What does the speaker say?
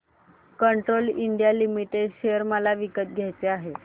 Castrol India limited share मला विकत घ्यायचे आहेत